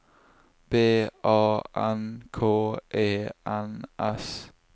B A N K E N S